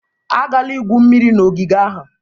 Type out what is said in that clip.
Agala igwu mmiri na ogige ahụ!